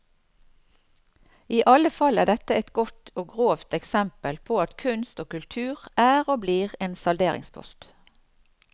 I alle fall er dette et godt og grovt eksempel på at kunst og kultur er og blir en salderingspost.